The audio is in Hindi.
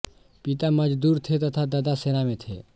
पिता मजदूर थे तथा दादा सेना में थे